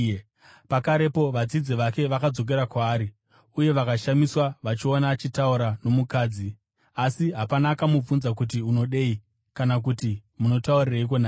Pakarepo vadzidzi vake vakadzokera kwaari uye vakashamiswa vachiona achitaura nomukadzi. Asi hapana akamubvunza kuti, “Unodei?” kana kuti “Munotaurireiko naye?”